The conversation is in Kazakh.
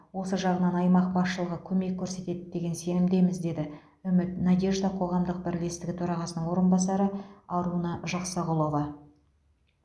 осы жағынан аймақ басшылығы көмек көрсетеді деген сенімдеміз деді үміт надежда қоғамдық бірлестігі төрағасының орынбасары аруна жақсағұлова